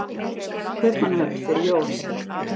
Kaupmannahöfn fyrir jól?